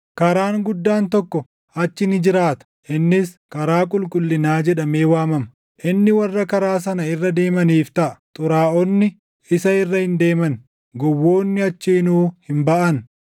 Karaan guddaan tokko achi ni jiraata; innis, Karaa Qulqullinaa jedhamee waamama; inni warra Karaa sana irra deemaniif taʼa. “Xuraaʼonni” isa irra hin deeman; gowwoonni achiinuu hin baʼan.